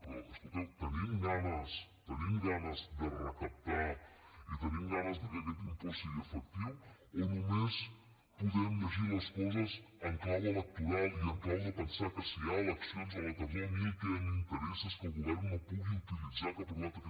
però escolteu tenim ganes de recaptar i tenim ganes de que aquest impost sigui efectiu o només podem llegir les coses en clau electoral i en clau de pensar que si hi ha eleccions a la tardor a mi el que m’interessa és que el govern no pugui utilitzar que ha aprovat aquest